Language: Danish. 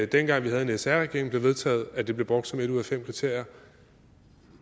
dengang vi havde en sr regering det vedtaget at det blev brugt som et ud af fem kriterier